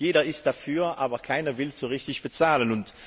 Jeder ist dafür, aber keiner will so richtig dafür bezahlen.